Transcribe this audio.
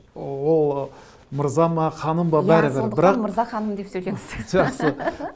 ол мырза ма ханым ба бәрібір иә сондықтан мырза ханым деп сөйлеңіз жақсы